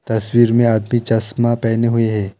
तस्वीर में आदमी चश्मा पहने हुए हे।